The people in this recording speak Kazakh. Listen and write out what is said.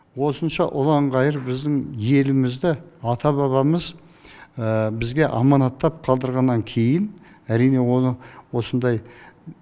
осынша ұлан ғайыр біздің елімізді ата бабамыз бізге аманаттап қалдырғаннан кейін әрине оны осындай